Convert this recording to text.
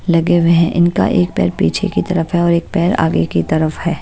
लगे हुए हैं इनका एक पैर पीछे की तरफ है और एक पैर आगे की तरफ है।